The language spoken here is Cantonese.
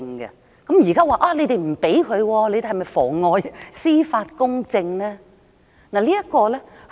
現在你們不容許他上庭，是否妨礙司法公正呢？